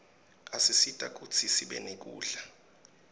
asisita kutsi sibe nekudla